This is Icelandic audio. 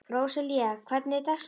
Róselía, hvernig er dagskráin?